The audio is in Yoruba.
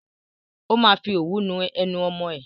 Ó máa fi òwú nu ẹnu ọmọ ẹ.